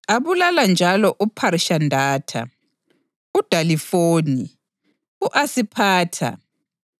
Abulala njalo uPharishandatha, uDalifoni, u-Asiphatha,